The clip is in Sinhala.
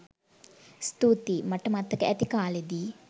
ස්තූතියි! මට මතක ඇති කාලෙදි